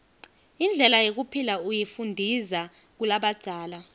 indlela yekuphila uyifundiza kulabadzala